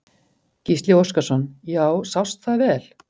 Gísli Óskarsson: Já, sást það vel?